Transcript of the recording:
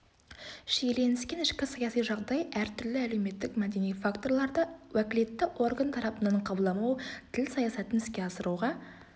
шиеленіскен ішкі саяси жағдай әртүрлі әлеуметтік мәдени факторларларды уәкілетті орган тарапынан қабылдамау тіл саясатын іске асыруға